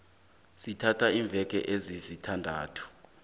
sithatha iimveke ezisithandathu